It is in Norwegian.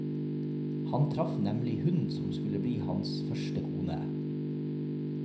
Han traff nemlig hun som skulle bli hans første kone.